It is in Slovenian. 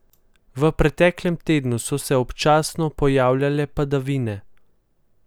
V preteklem tednu so se občasno pojavljale padavine.